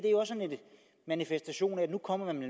manifestation af at nu kommer man